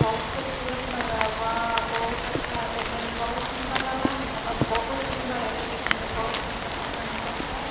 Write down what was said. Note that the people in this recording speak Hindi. बहुत खूबसूरत लग रहा है वाह बहुत अच्छा लग रहा है देखने में बहुत सुंदर लग रहा है और बहुत सुन्दर है के देखने में बहुत सुंदर लग रहा है मस्त--